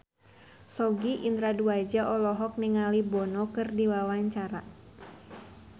Sogi Indra Duaja olohok ningali Bono keur diwawancara